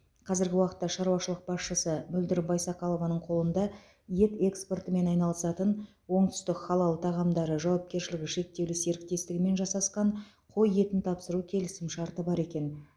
қазіргі уақытта шаруашылық басшысы мөлдір байсақалованың қолында ет экспортымен айналысатын оңтүстік халал тағамдары жауакершілігі шектеулі серіктестігімен жасасқан қой етін тапсыру келісімшарты бар екен